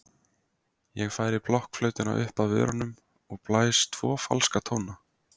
Ég færi blokkflautuna upp að vörunum og blæs tvo falska tóna.